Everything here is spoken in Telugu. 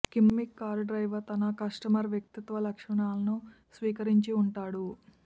కిమ్మిక్ కారు డ్రైవర్ తన కస్టమర్ వ్యక్తిత్వ లక్షణాలను స్వీకరించి ఉంటాడు